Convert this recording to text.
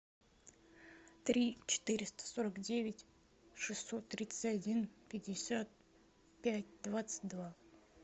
три четыреста сорок девять шестьсот тридцать один пятьдесят пять двадцать два